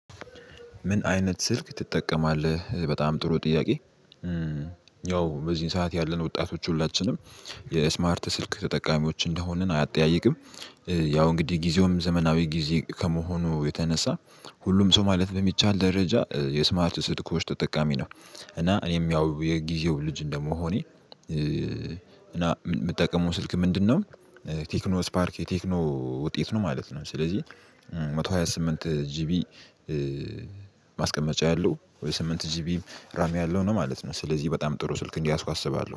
ምን አይነት ስልክ ትጠቀማለህ በጣም ጥሩ ጥያቄ? ያው በዚህን ሰዓት ያለን ወጣቶች ሁላችንም የስማርት ስልክ ተጠቃሚዎች እንደሆንን አያጠያይቅም። ያው እንግዲህ ጊዜውም ዘመናዊ ጊዜ ከመሆኑ የተነሳ ሁሉም ሰው ማለት በሚቻል ደረጃ የስማርት ስልኮች ተጠቃሚ ነው። እና እኔም ያው የጊዜው ልጅ እንደመሆኔ እና የምጠቀመው ስልክ ምንድነው? ቴክኖ ስፓርክ የቴክኖ ውጤት ነው ማለት ነው። ስለዚህ መቶ ሃያ ስምንት ጂቢ ማስቀመጫ ያለው ወይ ስምንት ጂቢ ራም ያለው ነው ማለት ነው። ስለዚህ በጣም ጥሩ ስልክ እንደያዝኩ አስባለሁ